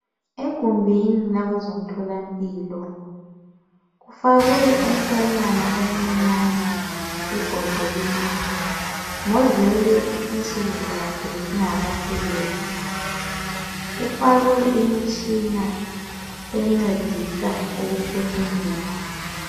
EGumbini lakwezomtholampilo kufakwe umntwanyana oncinyane ebhodleleni, ngozelwe insukuzakhe zingakapheleli, ufakwe imitshina encedisa ukuphefumula.